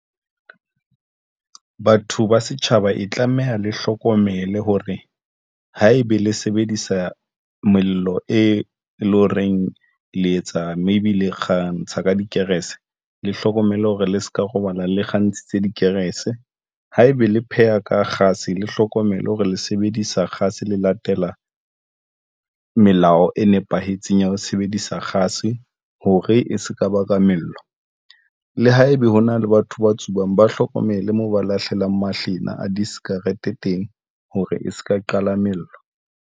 Batho ba setjhaba e tlameha le hlokomele hore haebe le sebedisa mello e leng horeng le etsa maybe le kgantsha ka dikerese, le hlokomele hore le se ka robala le kgantshitse dikerese haebe le pheha ka kgase, le hlokomelo hore le sebedisa kgase le latela melao e nepahetseng ya ho sebedisa kgase hore e sekaba ka mello. Le haebe hona le batho ba tsubang, ba hlokomele moo ba lahlelang mahlena a di sikarete teng, hore e se ka qala mello.